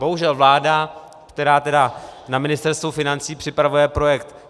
Bohužel vláda, která tedy na Ministerstvu financí připravuje projekt